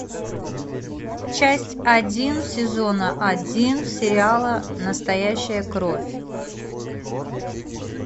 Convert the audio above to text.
часть один сезона один сериала настоящая кровь